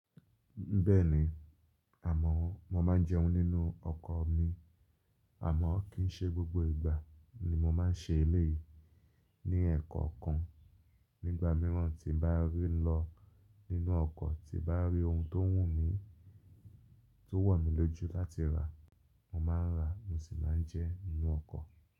Bẹ́ẹ̀ni àmọ́ mo máa ń jẹun nínú ọkọ̀ mi. Àmọ́ kì í ṣe gbogbo ìgbà ni mo máa ń ṣe eléyìí. Ní ẹ̀ẹ̀kọ̀kan nígbà míràn tí n bá rí lọ nínú ọkọ̀ tí bá rí ohun tó wù mí, tó wọ̀ mí lójú láti rà mo máa ń rà mo sì máa ń jẹ nínú ọkọ̀.